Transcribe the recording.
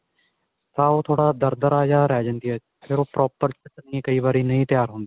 ਤਾਂ ਉਹ ਥੋੜਾ ਦਰਦਰਾ ਜਾ ਰਿਹ ਜਾਂਦੀ ਏ ਫੇਰ ਉਹ proper ਕਈ ਵਾਰੀ ਨਹੀ ਤਿਆਰ ਹੁੰਦੀ.